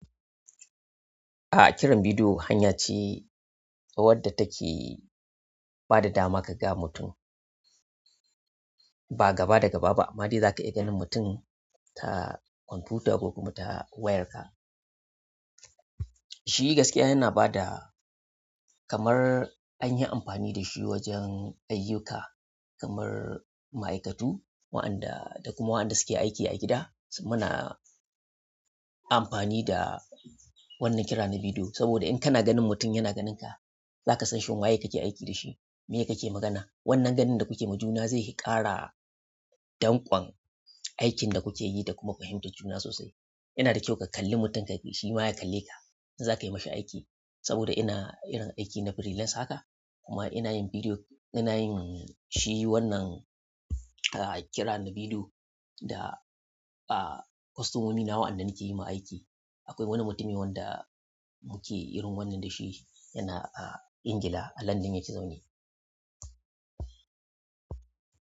A'a, kiran bidiyo hanya ce, wadda take ba da dama ka ga mutum ba gaba da gaba ba. Amma dai za ka iya ganin mutum ta kwamfuta ko kuma ta wayarka. Shi gaskiya yana ba da kamar an yi amfani da shi wajen ayyuka kamar ma'aikatu, waɗanda da kuma waɗanda suke aiki a gida. Muna amfani da wannan kira na bidiyo saboda in kana ganin mutum yana ganinka, za ka san shin waye kake aiki da shi, miye kake magana. Wannan ganin da kuke majuna zai ƙara danƙon aikin da kuke yi da kuma fahimtar juna sosai. Yana da kyau ka kalli mutun ka, shi ma ya kalleka a in za ka yi masa aiki. Saboda ina irin aiki na freelance haka kuma ina yin bidiyo, ina yin shi wannan, ah, kira na bidiyo da, ah, kostomomi na waɗannan ke yi ma aiki. Akwai wani mutimi wanda muke irin wannan da shi yana, ah, Ingila a London yake zaune.